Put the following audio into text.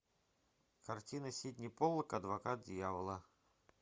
картина сидни поллак адвокат дьявола